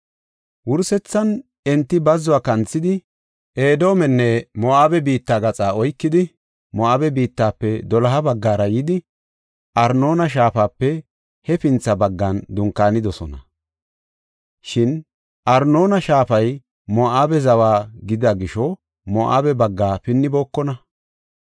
“Wursethan enti bazzuwa kanthidi, Edoomenne Moo7abe biitta gaxaa oykidi, Moo7abe biittafe doloha baggara yidi Arnoona shaafape hefintha baggan dunkaanidosona. Shin Arnoona shaafay Moo7abe zawa gidida gisho Moo7abe bagga pinnibookona.